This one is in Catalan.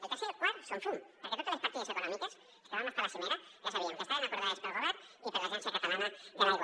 el tercer i el quart són fum perquè totes les partides econòmiques els que vam estar a la cimera ja sabíem que estaven acordades pel govern i per l’agència catalana de l’aigua